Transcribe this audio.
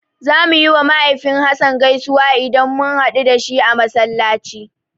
Zamu yiwa mahaifin Hassan gaisuwa idan mun haɗu da shi a Masallaci.